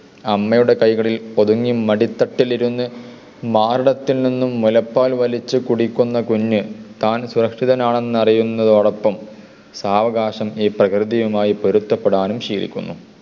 അമ്മയുടെ കൈകളിൽ ഒതുങ്ങി മടിത്തട്ടിലിരുന്ന് മാറിടത്തിൽ നിന്നും മുലപ്പാൽ വലിച്ചു കുടിക്കുന്ന കുഞ്ഞു താൻ സുരക്ഷിതനാണെന്ന് അറിയുന്നതിനോടൊപ്പം സാവകാശം ഈ പ്രകൃതിയുമായി പൊരുത്തപ്പെടാനും ശീലിക്കുന്നു.